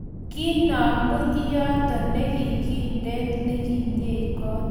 Kinamu iyeto ne kindet nikinyie kot